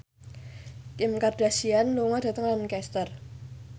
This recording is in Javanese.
Kim Kardashian lunga dhateng Lancaster